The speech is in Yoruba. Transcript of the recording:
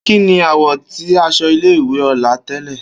Kini àwọ̀ ti aṣọ ile-iwe Ola tẹlẹ?